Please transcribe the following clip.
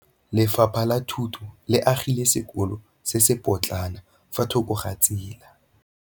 Lefapha la Thuto le agile sekôlô se se pôtlana fa thoko ga tsela.